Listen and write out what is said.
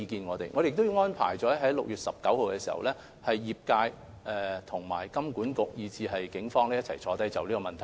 我們將會在6月19日與業界、金管局及警方一起商議這問題。